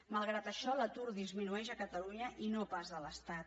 malgrat això l’atur disminueix a catalunya i no pas a l’estat